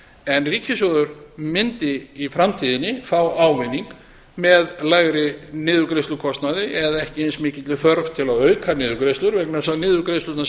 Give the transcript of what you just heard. en ríkissjóður mundi í framtíðinni fá ávinning með lægri niðurgreiðslukostnaði eða ekki eins mikilli þörf til að auka niðurgreiðslur vegna þess að niðurgreiðslurnar